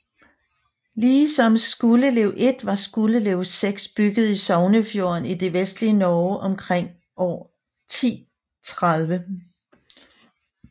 Ligesom Skuldelev 1 var Skuldelev 6 bygget i Sognefjorden i det vestlige Norge omkring år 1030